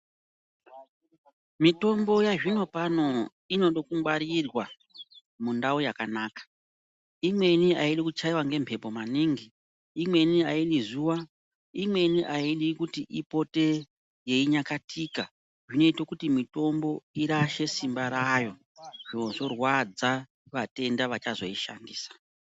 Mitombo yazvinopano inoda kungwarirwa mundau yakanaka imweni aidi kuchaiwa ngemhepo maningi, imweni aidi zuwa , imweni aidi kuti ipote yeinyakatika. Zvinoite kuti mitombo irashe simba rayo zvorwadza vatenda vachazoishandisa.